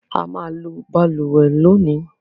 A máa lo balùwẹ́ lónìí